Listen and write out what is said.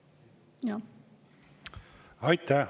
Aitäh!